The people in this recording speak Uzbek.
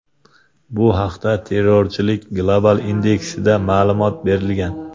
Bu haqda Terrorchilik global indeksida ma’lumot berilgan .